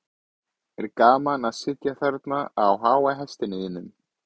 er gaman að sitja þarna á háa hestinum þínum